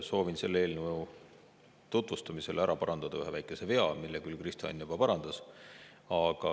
Soovin selle eelnõu tutvustamisel ära parandada ühe väikese vea, mille küll Kristo Enn juba parandas.